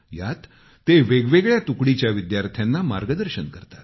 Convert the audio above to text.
यात ते वेगवेगळ्या तुकडीच्या विद्यार्थ्यांना मार्गदर्शन करतात